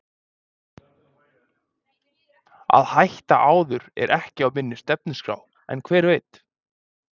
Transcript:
Að hætta áður er ekki á minni stefnuskrá en hver veit?